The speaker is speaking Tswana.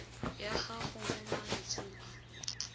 ya gago mo malatsing a